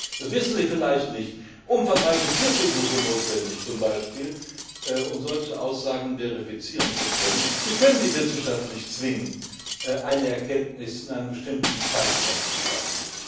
Da sind das wissen Sie vielleicht nicht beispielsweise umfangreiche Tierversuche notwendig, um solche Aussagen verifizieren zu können. Sie können die Wissenschaft nicht zwingen, eine Erkenntnis in einem bestimmten Zeitraum zu schaffen.